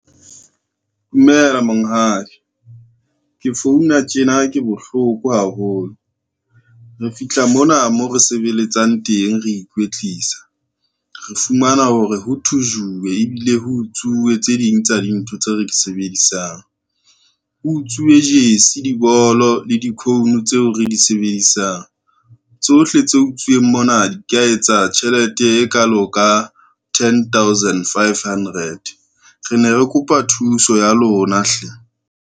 Dumela monghadi, ke founa tjena ke bohloko haholo, re fihla mona mo re sebeletsang teng re ikwetlisa, re fumana hore ho thujuwe ebile ho utsuwe tse ding tsa dintho tseo re di sebedisang. Ho utswiwe jersey, dibolo le di-cone tseo re di sebedisang, tsohle tse utsuweng mona di ka etsa tjhelete e kalo ka ten thousand five hundred. Re ne re kopa thuso ya lona hle.